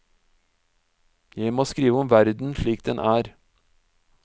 Jeg må skrive om verden slik den er.